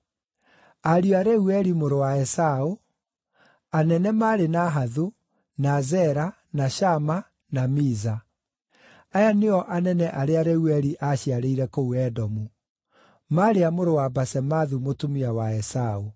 Ariũ a Reueli mũrũ wa Esaũ: Anene maarĩ Nahathu, na Zera, na Shama, na Miza. Aya nĩo anene arĩa Reueli aaciarĩire kũu Edomu; maarĩ a mũrũ wa Basemathu mũtumia wa Esaũ.